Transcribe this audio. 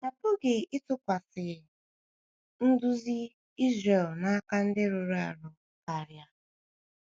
A pụghị ịtụkwasị um nduzi Izrel n’aka ndị rụrụ arụ karịa.